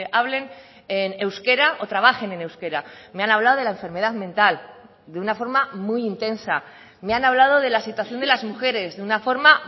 hablen en euskera o trabajen en euskera me han hablado de la enfermedad mental de una forma muy intensa me han hablado de la situación de las mujeres de una forma